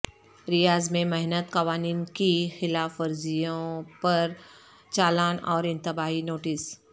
ریاض میں محنت قوانین کی خلاف ورزیوں پر چالان اور انتباہی نوٹس